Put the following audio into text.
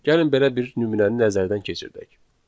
Gəlin belə bir nümunəni nəzərdən keçirdək.